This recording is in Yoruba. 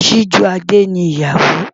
Sijúadé ni ìyàwó.